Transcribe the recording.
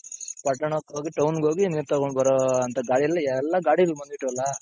ಪಟ್ಟಣ್ಣಕ್ಕ್ ಹೋಗಿ town ಗೋಗಿ ನೀರ್ ತಗೊಂಡ್ ಬರೋ ಅಂತ ಗಾಡಿಲಿ ಎಲ್ಲಾ ಗಾಡಿಲಿ ಬಂದ್ಬಿಟ್ರಲ್ಲ